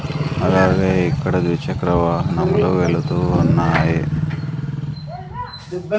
అలాగే ఇక్కడ ద్విచక్ర వాహనములు వెళ్తూ ఉన్నాయి.